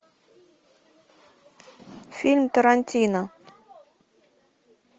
фильм тарантино